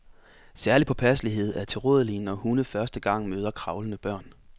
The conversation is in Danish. Særlig påpasselighed er tilrådelig, når hunde første gang møder kravlende børn.